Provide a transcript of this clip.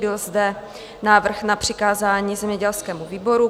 Byl zde návrh na přikázání zemědělskému výboru.